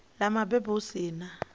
ḽa mabebo hu si na